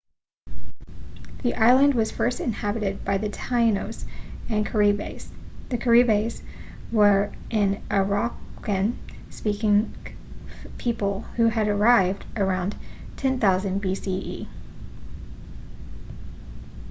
the island was first inhabited by the taínos and caribes. the caribes were an arawakan-speaking people who had arrived around 10,000 bce